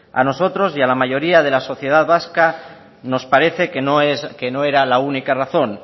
a nosotros y a la mayoría de las sociedad vasca nos parece que no era la única razón